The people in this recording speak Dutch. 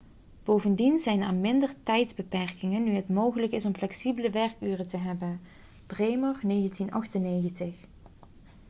bovendien zijn er minder tijdsbeperkingen nu het mogelijk is om flexibele werkuren te hebben bremer 1998